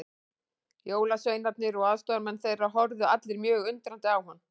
Jólasveinarnir og aðstoðarmenn þeirra horfðu allir mjög undrandi á hann.